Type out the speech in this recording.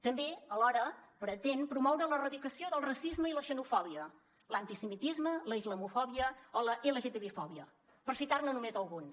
també alhora pretén promoure l’erradicació del racisme i la xenofòbia l’antisemitisme la islamofòbia o la lgtbifòbia per citar ne només alguns